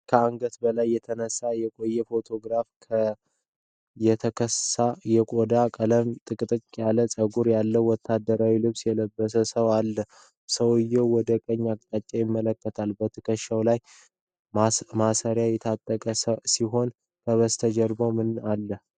ከአንገት በላይ የተነሳው የቆየ ፎቶግራፍ፣ የተከሳ የቆዳ ቀለምና ጥቅጥቅ ያለ ፀጉር ያለው ወታደራዊ ልብስ የለበሰን ሰው አሉ። ሰውየው ወደ ቀኝ አቅጣጫ ይመለከታል፤ በትከሻው ላይ ማሰሪያ የታጠቀ ሲሆን፣ ከበስተጀርባው ምን አሉ?